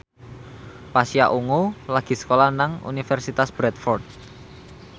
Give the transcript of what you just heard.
Pasha Ungu lagi sekolah nang Universitas Bradford